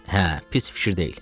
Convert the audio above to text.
Hə, pis fikir deyil.